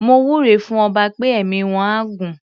Mo wúre fún ọba pé ẹ̀mí wọ́n á gún.